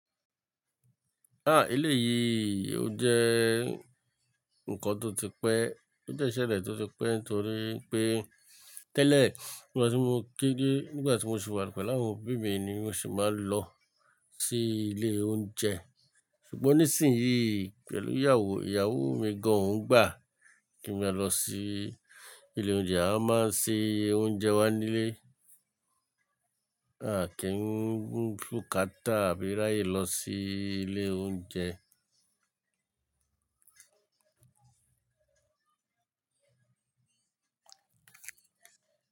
Ah! Eléyìí ò jẹ́ nǹkan tó ti pẹ́, ó jẹ́ iṣẹ́le tó ti pẹ́ nítorí pé, tẹ́lẹ̀ nígbà tí mo kéré nígbà tí mo sì wà pẹ̀lú àwọn òbí mi ni mo sì máa ń lọ sí ilé oúnjẹ. Ṣùgbọ́n nísìnyuí pẹ̀lú ìyàwó, ìyàwó mi gan oun gbà kí n máa lọ sí ilé oúnjẹ a máa ń se oúnjẹ wa nílé. A kì ín mú bukátà àbí ráyè lọ sí ilé oúnjẹ.